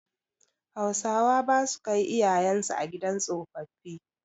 Hausawa basu kai iyayen su a gidan tsofaffi.